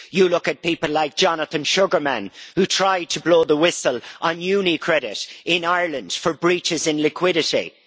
You look at people like Jonathan Sugarman who tried to blow the whistle on UniCredit in Ireland for breaches in liquidity.